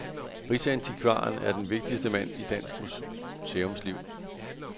Rigsantikvaren er den vigtigste mand i dansk museumsliv.